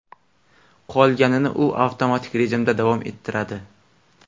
Qolganini u avtomatik rejimda davom ettiradi.